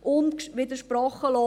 unwidersprochen.